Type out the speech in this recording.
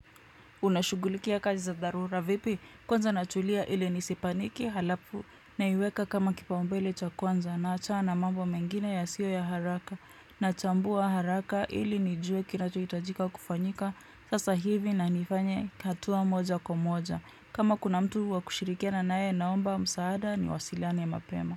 Unashughulikia kazi za dharura vipi kwanza natulia ili nisipaniki halafu naiweka kama kipaumbele cha kwanza naachana na mambo mengine yasio na haraka nachambua haraka ili nijue kinachohitajika kufanyika sasa hivi na nifanye hatua moja kwa moja kama kuna mtu wa kushirikiana naye naomba msaada niwasiliane mapema.